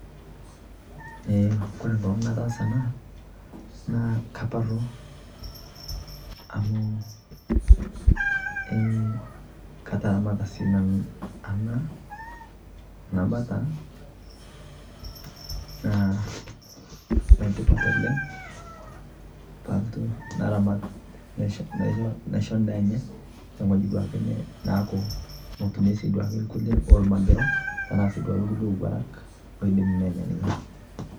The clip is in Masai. kore nkolong nataasa anaa naa kaparuu amuu eeh kataramataa sii nanuu anaa bataa naa netipat oleng paalotu naramat naishoo ndaa enyee tong'ojii duake naaku motumie lkulie oo lmagiroo tanaa duake lkulie owarak loidim nenyaa ninye